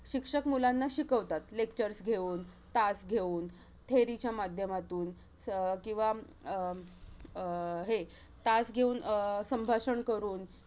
शिक्षक मुलांना शिकवतात. Lectures घेऊन, तास घेऊन, theory च्या माध्यमातून, च अं किंवा अं अं हे, तास घेऊन संभाषण करून.